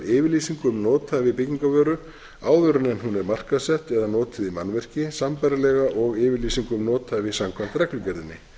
yfirlýsingu um nothæfi byggingarvöru áður en hún er markaðssett eða notuð í mannvirki sambærilega og yfirlýsingu um nothæfi samkvæmt reglugerðinni